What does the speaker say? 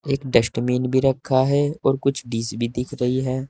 एक डस्टबिन भी रखा है और कुछ डिश भी दिख रही है।